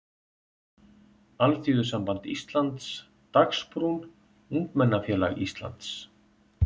Alþýðusamband Íslands, Dagsbrún, Ungmennafélag Íslands.